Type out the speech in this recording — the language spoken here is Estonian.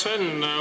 Hea Sven!